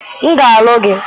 m ga-alụ gị